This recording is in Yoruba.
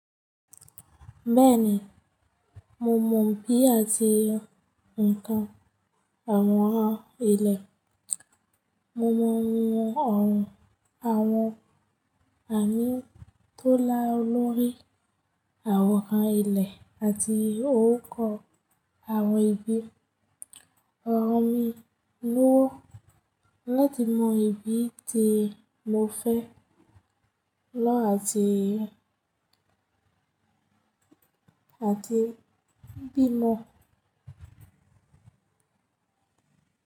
Bẹ́ẹ̀ni, mo mọ bí àti ǹkan àwọn àwọn ilẹ̀. Mo mọ ohùn àwọn àmì tó lá lorí àwòrán ilẹ̀ àti orúkọ àwọn ibi. Ọ̀rọ̀ mi lówó láti mọ ibi tí mo fẹ́ lọ àti bí mo.